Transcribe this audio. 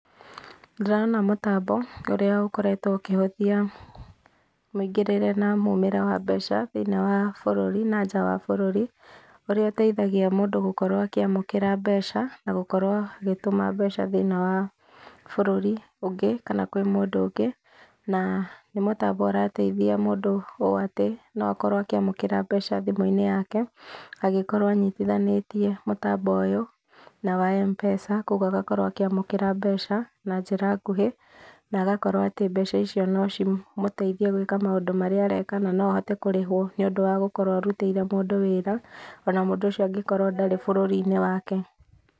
Ndĩrona mũtambo ũrĩa ũkoretwo ũkĩhũthia mũingĩrĩre na mumĩre wa mbeca thĩiniĩ wa bũrũri na nja wa bũrũri ũria ũteithagia mũndũ gũkorwo akĩamũkĩra mbeca, na gũkorwo agĩtũma mbeca thĩiniĩ wa bũrũri ũngĩ kana kwĩ mũndũ ũngĩ , na nĩ mũtambo ũrateithia mũndũ ũũ atĩ no akorwo akĩamũkĩra mbeca thimũ-inĩ yake angĩkorwo anyitithanĩtie mũtambo ũyũ na wa M-pesa, kwa ũguo agakorwo akĩamũkĩra mbeca na njĩra nguhĩ na agakorwo atĩ mbeca icio no cimũteithie gũĩka maũndũ marĩa areka, na no ahote kũrĩhwo nĩũndũ wa gũkorwo arutĩire mũndũ wĩra ona mũndũ ũcio angĩkorwo ndarĩ bũrũri-inĩ wake.